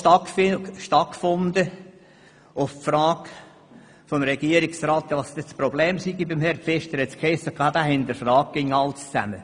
Auf seine Frage, was denn das Problem bei Herrn Pfister sei, hiess es, er würde alles hinterfragen.